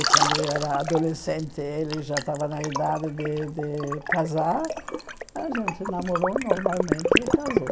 E quando eu era adolescente, ele já estava na idade de de casar, a gente namorou normalmente e casou.